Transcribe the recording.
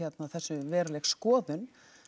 þessu veruleg skoðun